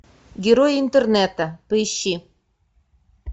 герои интернета поищи